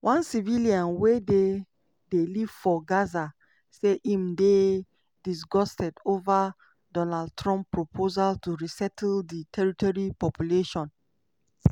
one civilian wey dey dey live for gaza say im dey "disgusted" over donald trump proposal to resettle di territory population.